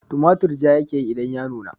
Tumatur ja ya ke yi idan ya nuna